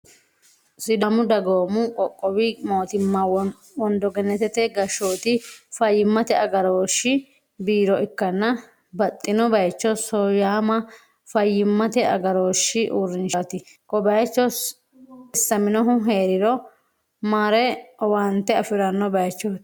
sidaamu dagoomu qoqqowi mootimma wondogennetete gashshooti fayyimmate agarooshshi borro ikkanna, baxxino bayicho sooyaama fayyimmate agarooshshi uurrinshaati, ko bayicho xissaminohu hee'riro mare owaante afi'ranno bayichooti.